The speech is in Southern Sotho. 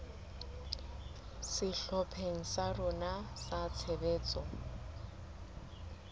sehlopheng sa rona sa tshebetso